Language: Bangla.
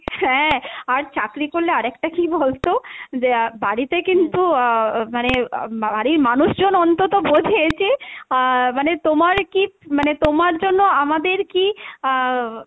হ্যাঁ আর চাকরি করলে আরেকটা কী বলতো যে বাড়িতে কিন্তু আহ মানে আহ বাড়ির মানুষজন অন্তত বোঝে যে আহ মানে তোমার কী মানে তোমার জন্য আমাদের কী আহ